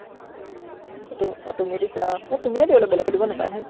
আহ তুমি দিছা আহ তুমিয়েই দিব লাগিব, বেলেগে দিব নাপায় নহয়।